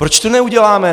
Proč to neuděláme?